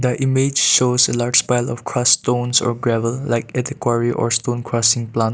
the image shows a large barrel of crush stones or gravel like it or stone crushing plant.